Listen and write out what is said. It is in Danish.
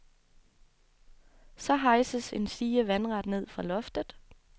Så hejses en stige vandret ned fra loftet.